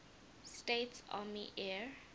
states army air